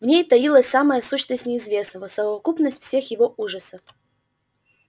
в ней таилась самая сущность неизвестного совокупность всех его ужасов